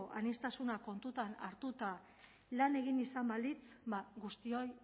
aniztasuna kontuan hartuta lan egin izan balitz ba guztioi